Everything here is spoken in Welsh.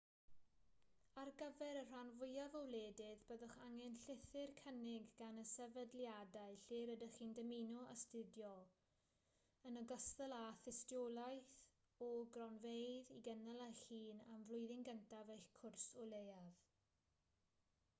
ar gyfer y rhan fwyaf o wledydd byddwch angen llythyr cynnig gan y sefydliadau lle rydych chi'n dymuno astudio yn ogystal â thystiolaeth o gronfeydd i gynnal eich hun am flwyddyn gyntaf eich cwrs o leiaf